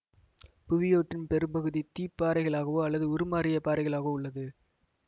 புவியோட்டின் பெரும்பகுதி தீப்பாறைகளாகவோ அல்லது உருமாறிய பாறைகளாகவோ உள்ளது